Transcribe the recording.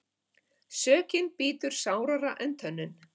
Sökin bítur sárara en tönnin.